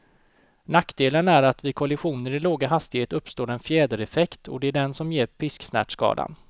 Nackdelen är att vid kollisioner i låga hastigheter uppstår en fjädereffekt, och det är den som ger pisksnärtskadan.